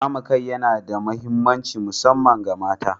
Kame kai yana da mahimmanci musamman ga mata.